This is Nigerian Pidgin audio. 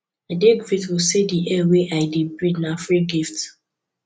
i dey grateful say di air wey i dey breathe na free gift